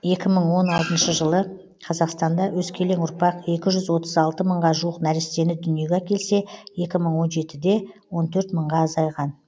екі мың он алтыншы жылы қазақстанда өскелең ұрпақ екі жүз отыз алты мыңға жуық нәрестені дүниеге әкелсе екі мың он жетіде он төрт мыңға азайған